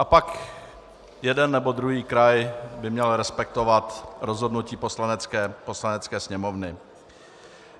A pak jeden nebo druhý kraj by měl respektovat rozhodnutí Poslanecké sněmovny.